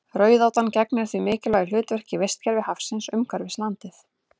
Rauðátan gegnir því mikilvægu hlutverki í vistkerfi hafsins umhverfis landið.